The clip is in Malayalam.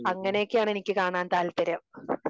അങ്ങനെയൊക്കെ ആണ് എനിക്ക് കാണാൻ താല്പര്യം.